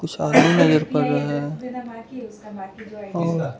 कुछ आदमी नजर पर रहा है और --